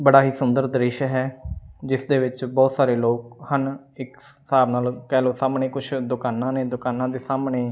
ਬੜਾ ਹੀ ਸੁੰਦਰ ਦ੍ਰਿਸ਼ ਹੈ ਜਿਸ ਦੇ ਵਿੱਚ ਬਹੁਤ ਸਾਰੇ ਲੋਕ ਹਨ ਇਕ ਹਿਸਾਬ ਨਾਲ ਕਹਿ ਲਓ ਸਾਹਮਣੇ ਕੁਝ ਦੁਕਾਨਾਂ ਨੇ ਦੁਕਾਨਾਂ ਦੇ ਸਾਹਮਣੇ --